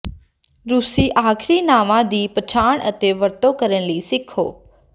ਰੂਸੀ ਆਖ਼ਰੀ ਨਾਵਾਂ ਦੀ ਪਛਾਣ ਅਤੇ ਵਰਤੋਂ ਕਰਨ ਲਈ ਸਿੱਖੋ